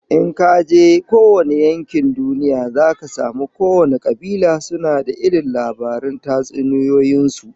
In kaje kowane yankin duniya zaka samu kowane kabila suna da irin labaran tatsuniyoyin su